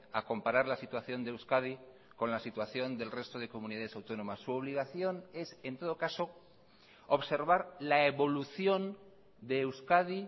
a comparar la situación de euskadi con la situación del resto de comunidades autónomas su obligación es en todo caso observar la evolución de euskadi